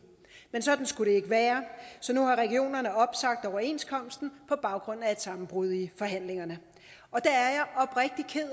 men sådan skulle det ikke være så nu har regionerne opsagt overenskomsten på baggrund af et sammenbrud i forhandlingerne og det